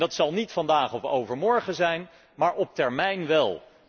Dat zal niet vandaag of morgen zijn, maar op termijn wel.